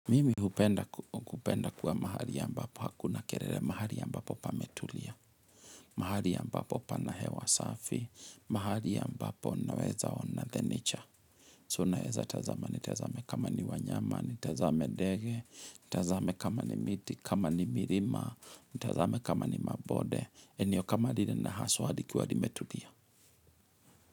Mimi hupenda kuwa mahali ya ambapo hakuna kerelele mahali ya ambapo pametulia, mahali ambapo pana hewa safi, mahali ya ambapo naweza ona the nature. So na weza tazama ni tazame kama ni wanyama, ni tazame ndege, tazame kama ni miti, kama ni mirima, tazame kama ni mabode, eniokamali na haswa likiwa limetulia.